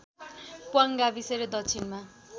प्वाङ गाविस र दक्षिणमा